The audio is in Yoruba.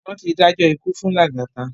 Wón ti dájọ́ ikú fún Lagata